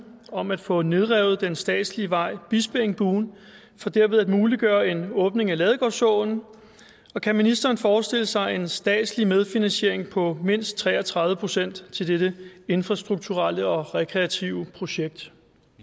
om at få nedrevet den statslige vej bispeengbuen for derved at muliggøre en åbning af ladegårdsåen og kan ministeren forestille sig en statslig medfinansiering på mindst tre og tredive procent til dette infrastrukturelle og rekreative projekt